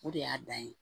O de y'a dan ye